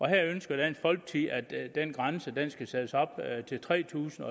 her ønsker dansk folkeparti at den grænse skal sættes op til tre tusind